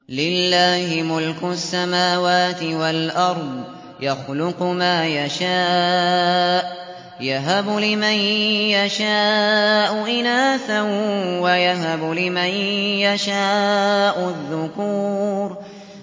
لِّلَّهِ مُلْكُ السَّمَاوَاتِ وَالْأَرْضِ ۚ يَخْلُقُ مَا يَشَاءُ ۚ يَهَبُ لِمَن يَشَاءُ إِنَاثًا وَيَهَبُ لِمَن يَشَاءُ الذُّكُورَ